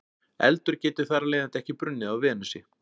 eldur getur þar af leiðandi ekki brunnið á venusi